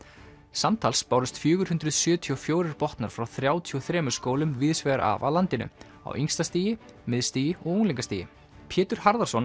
samtals bárust fjögur hundruð sjötíu og fjögur botnar frá þrjátíu og þremur skólum víðs vegar af landinu á yngsta stigi miðstigi og unglingastigi Pétur Harðarson